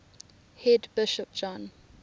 head bishop john